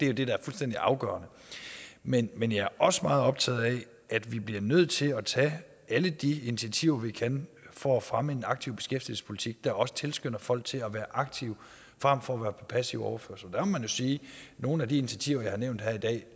jo det der er fuldstændig afgørende men men jeg er også meget optaget af at vi bliver nødt til at tage alle de initiativer vi kan for at fremme en aktiv beskæftigelsespolitik der også tilskynder folk til at være aktive frem for at være på passiv overførsel der må man jo sige at nogle af de initiativer jeg har nævnt her i dag